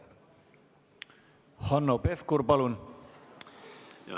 Hanno Pevkur, palun!